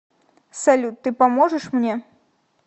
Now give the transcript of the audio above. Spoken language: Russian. салют ты поможешь мне